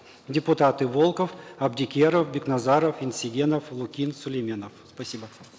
депутаты волков абдикеров бекназаров енсегенов лукин сулейменов спасибо